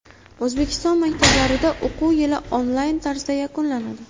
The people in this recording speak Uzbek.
O‘zbekiston maktablarida o‘quv yili onlayn tarzda yakunlanadi .